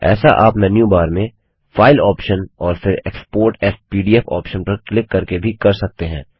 ऐसा आप menu bar में फाइल ऑप्शन और फिर एक्सपोर्ट एएस पीडीएफ ऑप्शन पर क्लिक करके भी कर सकते हैं